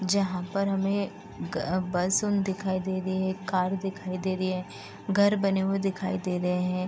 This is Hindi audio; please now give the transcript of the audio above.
जहां पर हमे दिखाई दे रही हे कार दिखाई दे रही है घर बने हुए दिखाई दे रहे हैं।